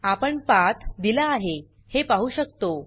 आपण पाथ दिला आहे हे पाहु शकतो